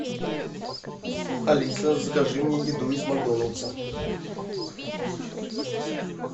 алиса закажи мне еду из макдональдса